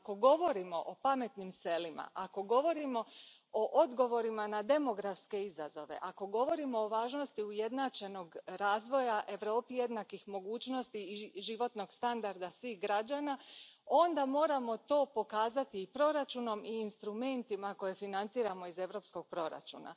Ako govorimo o pametnim selima, ako govorimo o odgovorima na demografske izazove, ako govorimo o važnosti ujednačenog razvoja Europi jednakih mogućnosti i životnog standarda svih građana, onda moramo to pokazati i proračunom i instrumentima koje financiramo iz europskog proračuna.